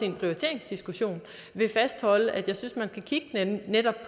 en prioriteringsdiskussion vil fastholde at jeg synes at man netop